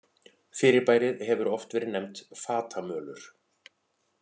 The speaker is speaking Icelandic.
Fyrirbærið hefur oft verið nefnt fatamölur.